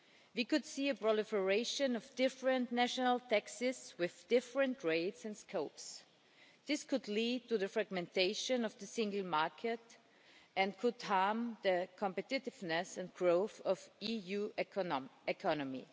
We could see a proliferation of different national taxes with different rates and scopes. This could lead to the fragmentation of the Single Market and could harm the competitiveness and growth of the EU economy.